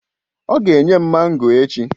Ọ ga enye m mango echi.